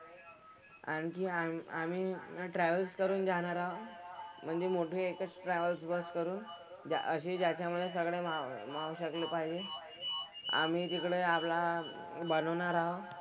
आणखी आम्ही आम्ही ना travels करून जाणार आहोत. म्हणजे मोठे एकच travels bus करून असे ज्याच्यामधे सगळं राहू शकलं पाहिजे. आम्ही तिकडे आपला हा बनवणार आहोत.